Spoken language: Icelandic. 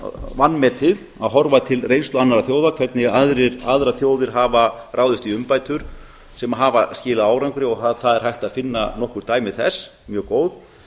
vanmetið að horfa til reynslu annarra þjóða hvernig aðrar þjóðir hafa ráðist í umbætur sem hafa skilað árangri og það er hægt að finna nokkur dæmi þess mjög góð